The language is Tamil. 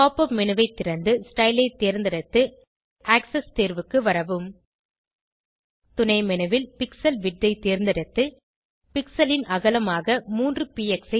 pop உப் மேனு ஐ திறந்து ஸ்டைல் ஐ தேர்ந்தெடுத்து ஆக்ஸஸ் தேர்வுக்கு வரவும் துணை menu ல் பிக்ஸல் விட்த் ஐ தேர்ந்தெடுத்து pixelன் அகலமாக 3 பிஎக்ஸ்